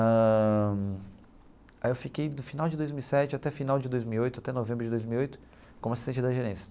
Ãh aí eu fiquei, do final de dois mil e sete até final de dois mil e oito, até novembro de dois mil e oito, como assistente da gerência.